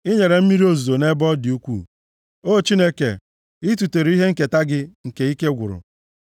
I nyere mmiri ozuzo nʼebe ọ dị ukwuu, O Chineke, i tutere ihe nketa gị nke ike gwụrụ.